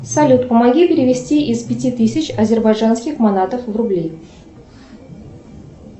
салют помоги перевести из пяти тысяч азербайджанских манатов в рубли